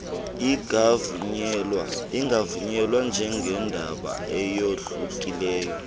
ingavunyelwa njengendaba eyohlukileyo